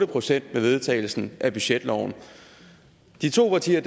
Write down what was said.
procent med vedtagelsen af budgetloven de to partier